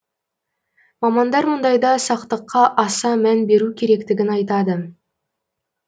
мамандар мұндайда сақтыққа аса мән беру керектігін айтады